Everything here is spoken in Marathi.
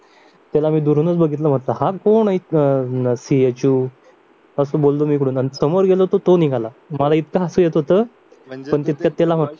त्याला मी दुरूनच बघितलं हा कोण अं सी एच ओ असं बोललो मी इकडून आणि समोर गेलो तर तो निघाला मला इतकं हसू येत होतं पण तितकच